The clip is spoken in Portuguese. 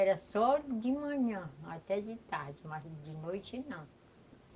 Era só de manhã até de tarde, mas de noite, não.